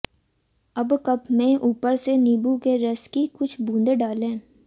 अब कप में ऊपर से नींबू के रस की कुछ बूंदे डालें